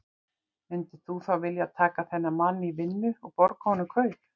Myndir þú þá vilja taka þennan mann í vinnu og borga honum kaup?